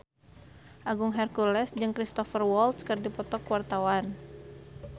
Agung Hercules jeung Cristhoper Waltz keur dipoto ku wartawan